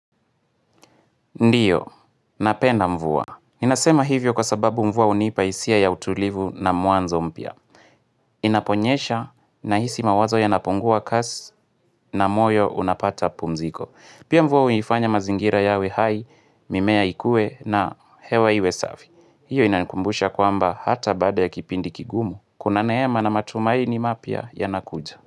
Ndio, napenda mvua. Inasema hivyo kwa sababu mvua hunipa hisia ya utulivu na mwanzo mpya. Inaponyesha na hisi mawazo ya napungua kasi na moyo unapata pumziko. Pia mvua huifanya mazingira yawe hai, mimea ikue na hewa iwe safi. Hio inainkumbusha kwamba hata baada ya kipindi kigumu. Kuna neema na matumaini mapya ya nakuja.